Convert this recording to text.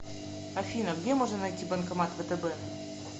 афина где можно найти банкомат втб